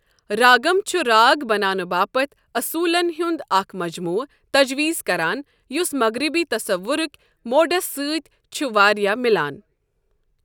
راگم چھ راگ بنانہٕ باپتھ اصوٗلَن ہُنٛد اکھ مجموعہ تجویز کران، یُس مغربی تصورٕک موڈَس سۭتۍ چھُ واریٛاہ مِلان۔